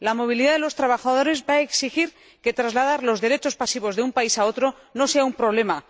La movilidad de los trabajadores va a exigir que trasladar los derechos pasivos de un país a otro no sea un problema.